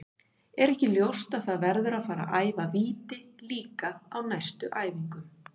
Er ekki ljóst að það verður að fara að æfa víti líka á næstu æfingum?